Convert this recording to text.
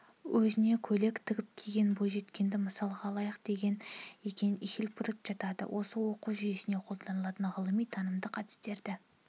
өзіне көйлек тігіп киген бойжеткенді мысалға алайық деген екен хилпатрик жатады оқу зертеуінде қолданылатын ғылыми-танымдық әдістерді